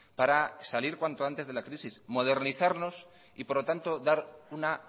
para salir cuanto antes de la crisis modernizarnos y por lo tanto dar una